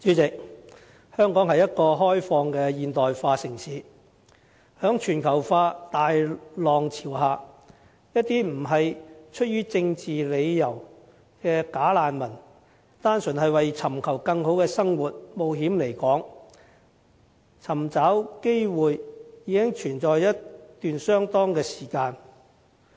主席，香港是一個開放的現代化城市，在全球化大浪潮下，一些不是出於政治理由的"假難民"單純為尋求更好的生活，冒險來港尋找機會的問題，已經存在相當一段時間。